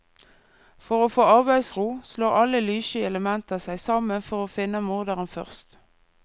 For å få arbeidsro, slår alle lyssky elementer seg sammen for å finne morderen først.